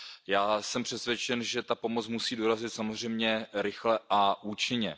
Já jsem přesvědčen, že ta pomoc musí dorazit samozřejmě rychle a účinně.